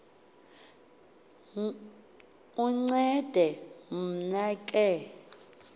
uncede mna ke